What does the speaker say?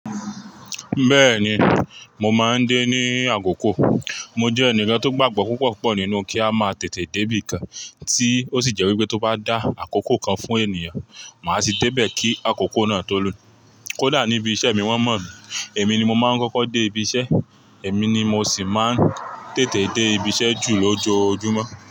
Bẹ́ẹ̀ni, mo máa ń dé ní àkókò. Mo jẹ́ ẹnìkan tó gbàgbọ́ púpọ̀ púpọ̀ nínú kí a máa tètè débí nǹkan tí ó sì jẹ́ wípé tó bá dá àkókò kan fún ènìyàn, màá tì débẹ̀ kí àkókò náà tó lù. Kódà níbi iṣẹ́ mi wọ́n mọ̀ mí, èmi ni mo máa ń kọ́kọ́ dé ibi iṣẹ́, èmi ni mo sì máa ń tètè dé ibi iṣẹ́ jù lójoojúmọ́